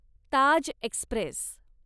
Taj Express